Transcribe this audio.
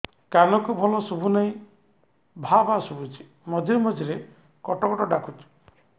କାନକୁ ଭଲ ଶୁଭୁ ନାହିଁ ଭାଆ ଭାଆ ଶୁଭୁଚି ମଝିରେ ମଝିରେ କଟ କଟ ଡାକୁଚି